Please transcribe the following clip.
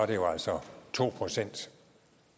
det jo altså to procent